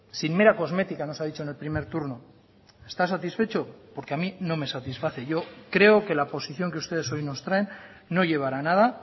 sin mera cosmética nos ha dicho en el primer turno está satisfecho porque a mí no me satisface yo creo que la posición que ustedes hoy nos traen no llevará a nada